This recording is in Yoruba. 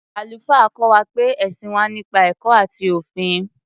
Àlùfáà kọ́ wa pé ẹ̀sìn wà nípa ẹ̀kọ́ àti òfin.